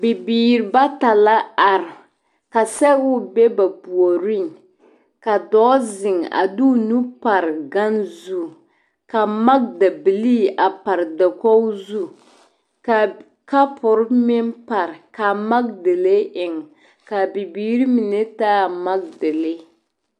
Bibiiri bata la are ka sɛgoŋ be ba puoriŋ ka dɔɔ zeŋ a de o nuuri pare gane zu ka magedabiliri a pare dakogi zu ka kapoore meŋ pare ka magedalee eŋ ka a bibiiri mine taa a magedalere